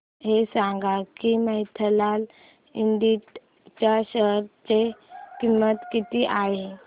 हे सांगा की मफतलाल इंडस्ट्रीज च्या शेअर ची किंमत किती आहे